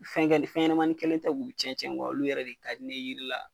Fɛnkɛ fɛnɲɛmani kelen tɛ k'u cɛn cɛn olu yɛrɛ de ka di ne ye jiri la.